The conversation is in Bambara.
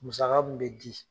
Musaka mun me di